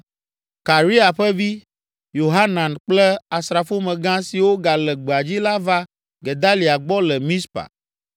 Karea ƒe vi, Yohanan kple asrafomegã siwo gale gbea dzi la va Gedalia gbɔ le Mizpa